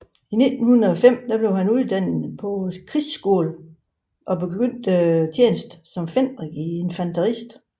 I 1905 blev han uddannet på krigsskolen og begyndte tjenesten som fenrik i infanteriet